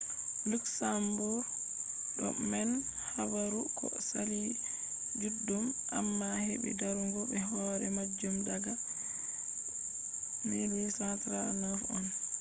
luxembourg do mari habaru ko saali juddum amma hebi darugo be hore majum daga 1839 on